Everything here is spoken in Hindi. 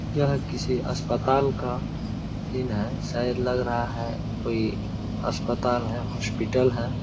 यह किसी अस्पताल का सीन है । शायद लग रहा है कोई अस्पताल है हॉस्पिटल है ।